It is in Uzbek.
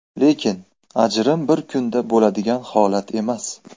Lekin ajrim bir kunda bo‘ladigan holat emas.